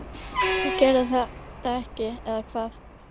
þú gerðir þetta ekki, eða hvað?